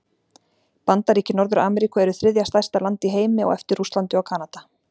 Bandaríki Norður-Ameríku eru þriðja stærsta land í heimi á eftir Rússlandi og Kanada.